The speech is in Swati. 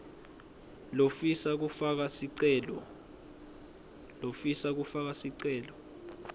lofisa kufaka sicelo